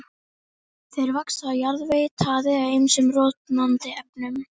Þeir vaxa á jarðvegi, taði eða ýmsum rotnandi efnum.